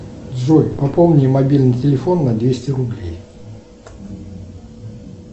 джой пополни мобильный телефон на двести рублей